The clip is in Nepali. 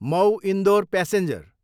मउ, इन्डोर प्यासेन्जर